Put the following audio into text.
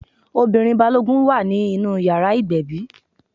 Ọmọbìnrin Balógun wà nínú ìyàrá ìgbẹ̀bí.